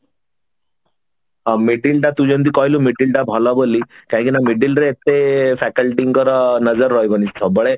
middle ଟା ତୁ ଯେମତି କହିଲୁ middle ଟା ଭଲ ବୋଲି କାହିଁକି ନା middle ରେ ଏତେ faculty ଙ୍କର ନଜର ରହିବନି ସବୁବେଳେ